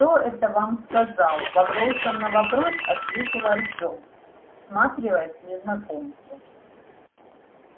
кто это вам сказал вопросом на вопрос ответил артем всматриваясь в незнакомца